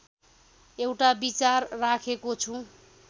एउटा विचार राखेको छु